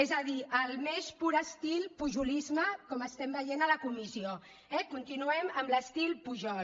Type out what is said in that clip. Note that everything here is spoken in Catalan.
és a dir al més pur estil pujolisme com estem veient a la comissió eh continuem amb l’estil pujol